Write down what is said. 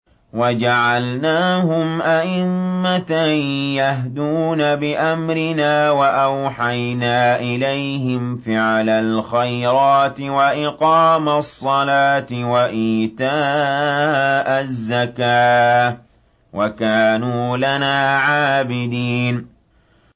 وَجَعَلْنَاهُمْ أَئِمَّةً يَهْدُونَ بِأَمْرِنَا وَأَوْحَيْنَا إِلَيْهِمْ فِعْلَ الْخَيْرَاتِ وَإِقَامَ الصَّلَاةِ وَإِيتَاءَ الزَّكَاةِ ۖ وَكَانُوا لَنَا عَابِدِينَ